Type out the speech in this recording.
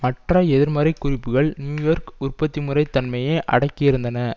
மற்ற எதிர்மறை குறிப்புக்கள் நியூ யோர்க் உற்பத்தி முறை தன்மையை அடக்கியிருந்தன